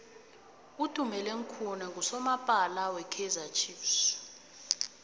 utumeleng khune nqusomapala we kaizer chiefs